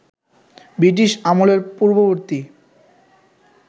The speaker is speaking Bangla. বৃটিশ আমলের পূর্ববর্তী